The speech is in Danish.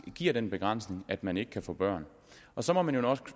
giver den begrænsning at man ikke kan få børn så må man jo også